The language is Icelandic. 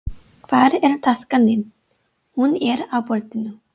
Hvar er taskan þín. Hún er á borðinu